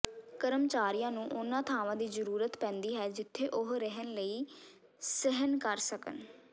ਕਰਮਚਾਰੀਆਂ ਨੂੰ ਉਨ੍ਹਾਂ ਥਾਵਾਂ ਦੀ ਜ਼ਰੂਰਤ ਪੈਂਦੀ ਹੈ ਜਿੱਥੇ ਉਹ ਰਹਿਣ ਲਈ ਸਹਿਣ ਕਰ ਸਕਣ